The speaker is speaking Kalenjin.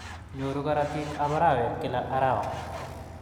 Nyoru karotik chebo arawet kila arawa.